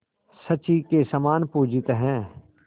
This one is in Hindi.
शची के समान पूजित हैं